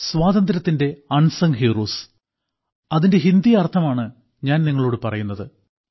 സ്വാതന്ത്ര്യത്തിന്റെ unsung heroes അതിന്റെ ഹിന്ദി അർത്ഥമാണ് ഞാൻ നിങ്ങളോട് പറയുന്നത്